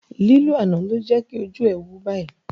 Lílù àná ló jẹ́kí ojú ẹ̀ wú báyìí